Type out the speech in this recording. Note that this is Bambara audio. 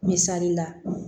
Misali la